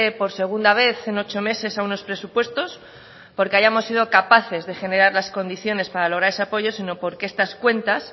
por segunda vez en ocho meses a unos presupuestos porque hayamos sido capaces de generar las condiciones para lograr ese apoyo sino porque esas cuentas